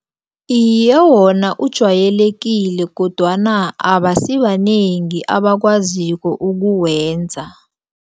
Iye, wona ujwayelekile kodwana abasibanengi abakwaziko ukuwenza.